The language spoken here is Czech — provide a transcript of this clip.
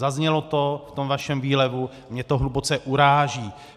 Zaznělo to v tom vašem výlevu, mě to hluboce uráží.